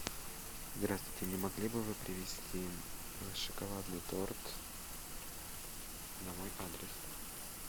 здравствуйте не могли бы вы привезти шоколадный торт на мой адрес